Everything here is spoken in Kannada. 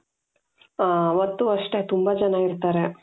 ಅವತ್ತೂ ಅಷ್ಟೆ ತುಂಬಾ ಜನ ಇರ್ತಾರೆ.